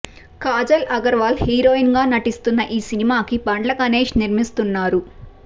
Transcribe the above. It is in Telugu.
కాజల్ అగర్వాల్ హీరోయిన్ గా నటిస్తున్న ఈ సినిమాకి బండ్ల గణేష్ నిర్మిస్తున్నారు